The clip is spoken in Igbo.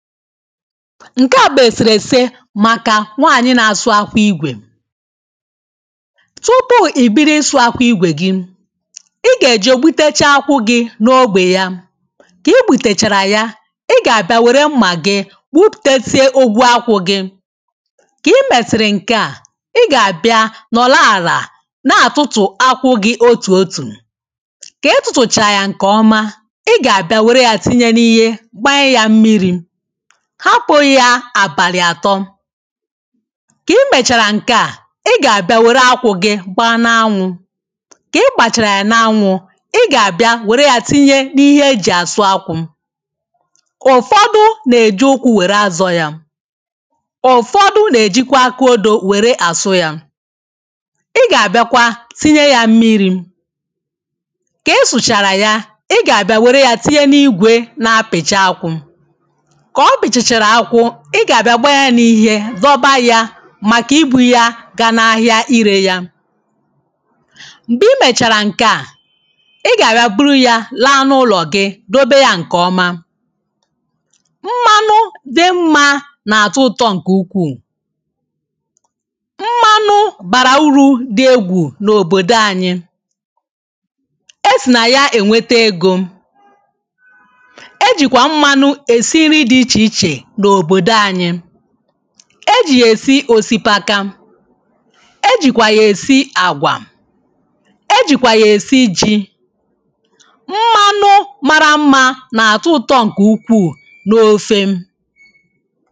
nke à bụ eserese maka nwanyị na-asụ akwụ igwè tupu i bido ịsụ akwụ igwè gị ị ga-eje gbutechaa akwụ gị n’ogbe ya ka i gbutechara ya ị ga-abịa were mma gị gbuputezie ogwu akwụ gị ka i mesiri nke à ị ga-abịa nọrọ ala na-atụtụ akwụ gị otu otu ka ị tụtụchaa ya nke ọma ị ga-abịa were ya tinye n’ihe gbanye ya mmiri hapụ ya abalị atọ̇ ka i mechara nke a, ị ga-abịa were akwụ gị gbaa n’anwụ̇ ka ị gbachara ya n’anwụ̇ ị ga-abịa were ya tinye n’ihe e ji asụ akwụ̇ ụfọdụ na-eji ụkwụ were azọ ya ụfọdụ na-ejikwa akaodo were asụ ya ị ga-abịakwa tinye ya mmiri̇ ka ị sụchara ya, ị ga-abịa were ya tinye n’igwe na-apịcha akwụ̇ i ga-abịa gbaa ya n’ihe, dọba ya maka ibu ya ga n’ahịa ire ya mgbe i mechara nke a ị ga-abịa buru ya laa n’ụlọ gị dobe ya nke ọma mmanụ dị mma na-atọ ụtọ nke ukwuu mmanụ bara uru dị egwù n’obodo anyị esi na ya enweta ego e jì yà èsi òsìpaka e jìkwà yà èsi àgwà e jìkwà yà èsi ijì mmanụ màrà mmȧ nà-àtọ ụtọ nkè ukwuù n’ofe